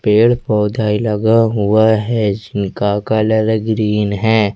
पेड़ पौधे लगा हुआ है जिनका कलर ग्रीन है।